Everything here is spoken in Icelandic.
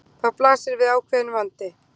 Þá blasir við ákveðinn vandi.